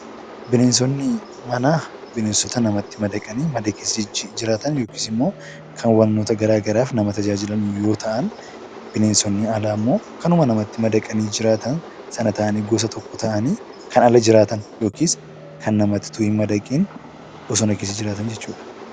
Bineensonni manaa binensota namatti madaqanii mana keessa jiraatan yookaan immoo kan wantoota gara garaaf nama tajaajilan yoo ta’an, bineensonni alaa immoo kanuma namatti madaqanii jiraatan sana ta'anii gosa tokko ta'anii kannala jiraatan yookiis kan namatti hin madaqne bosona keessa jiraatan jechuudha.